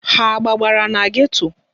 Ha agbabara na geto?